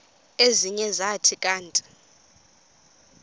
ezinye zathi kanti